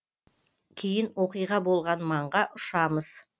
кейін оқиға болған маңға ұшамыз